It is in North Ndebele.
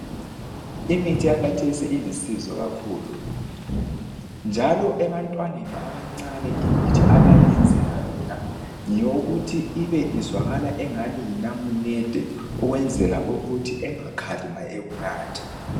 Imithi yakhathesi ilusizo kakhulu njalo ebantwaneni abancani imithi abayenzela yona ngeyokuthi ibe izwakala angani yinamunede ukwenzela ukuthi engakhali ma ewunatha.